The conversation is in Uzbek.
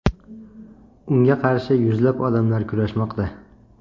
Unga qarshi yuzlab odamlar kurashmoqda.